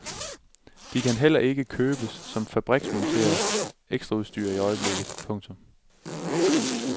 De kan heller ikke købes som fabriksmonteret ekstraudstyr i øjeblikket. punktum